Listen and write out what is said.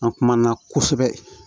An kumana kosɛbɛ